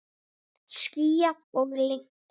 Skýjað og lygnt.